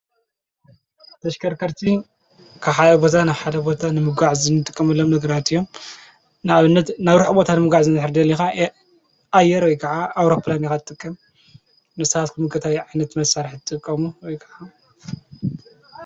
ተሽከርከርቲ ክሓቦታ ናብሓደ ቦታ ንምጕዕ ዝንድቀሙሎም ነግራት እዮም ናእብነት ናብርኅ ቦታ ንምጓዕ ዘንኅሪድ ሊኻ የኣየር ይ ከዓ ኣውሮጵላን ኻጥቀ ንሳሓት ኩምገታይ ዓይነት መሣርሕ ትቆሙ ወይ ከዓ